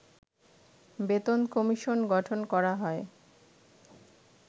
বেতন কমিশন গঠন করা হয়